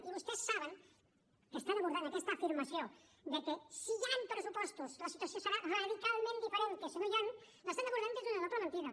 i vostès saben que estan abordant aquesta afirmació que si hi han pressupostos la situació serà radicalment diferent que si no n’hi han l’estan abordant des d’una doble mentida